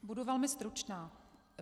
Budu velmi stručná.